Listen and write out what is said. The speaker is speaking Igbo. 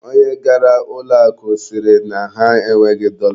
Onye gara ụlọ akụ sịrị na ha enweghị dọla.